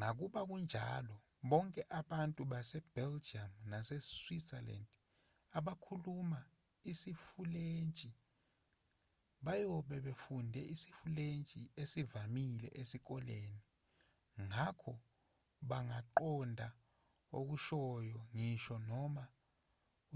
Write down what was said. nakuba kunjalo bonke abantu base-belgium nase-switzerland abakhuluma isifulentshi bayobe befunde isifulentshi esivamile esikoleni ngakho bangaqonda okushoyo ngisho noma